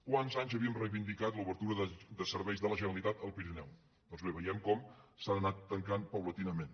quants anys havíem reivindicat l’obertura de serveis de la generalitat al pirineu doncs bé veiem com s’han anat tancant paulatinament